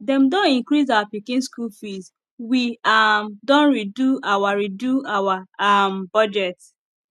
dem don increase our pikin school fees we um don redo our redo our um budget